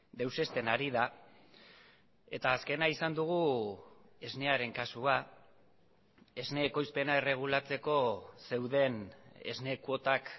deusezten ari da eta azkena izan dugu esnearen kasua esne ekoizpena erregulatzeko zeuden esne kuotak